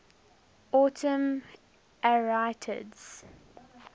autumn arietids